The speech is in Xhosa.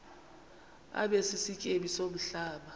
abe sisityebi somhlaba